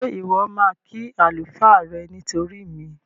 Ṣé Ìwọ́ máa kí àlùfáà rẹ nítorí mi?